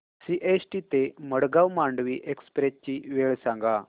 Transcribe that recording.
CST ते Madgaon Mandovi express ची वेळ सांगा